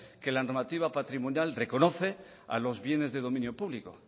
que la normativa patrimonial reconoce a los bienes de dominio público